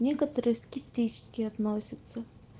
некоторые скептически относятся